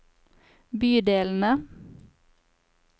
bydelene